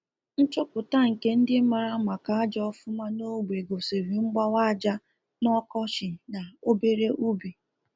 Nchọpụta nke ndị mara maka aja ọfụma n'ogbe gosiri mgbawa aja n'ọkọchị na obere ubi